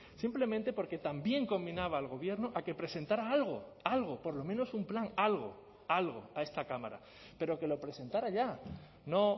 simplemente porque también combinaba al gobierno a que presentara algo algo por lo menos un plan algo algo a esta cámara pero que lo presentara ya no